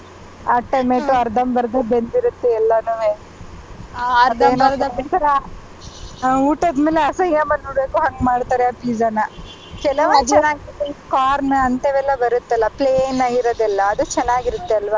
ಆ tomato ಅರ್ಧಂ ಬರ್ದ ಬೆಂದಿರುತ್ತೆ ಎಲ್ಲನುವೆ ಒಂಥರಾ ಊಟದ್ ಮೇಲೆ ಅಸಯ್ಯ ಬಂದ್ಬಿಡಬೇಕು ಹಂಗ್ಮಾಡ್ತಾರೆ ಆ pizza ನ ಕೆಲವು corn ಅಂತವೆಲ್ಲ ಬರುತ್ತಲ್ಲ plain ಆಗಿರೋದೆಲ್ಲ ಅದು ಚೆನ್ನಾಗಿರುತ್ತೆ ಅಲ್ವಾ.